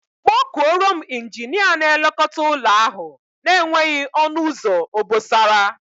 Kpọọ kuọrọ m Injinia na-elekota ụlọ ahu na-enweghị onu uzo obosara.